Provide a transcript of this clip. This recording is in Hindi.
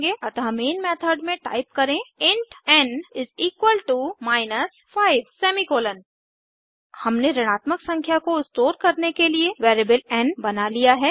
अतः मेन मेथड में टाइप करें इंट एन माइनस 5 हमने ऋणात्मक संख्या को स्टोर करने के लिए वैरिएबल एन बना लिया है